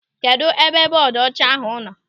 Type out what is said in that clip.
Kedụ ebe bọọdu ọcha ahụ nọ?